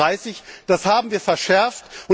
2030. Das haben wir verschärft.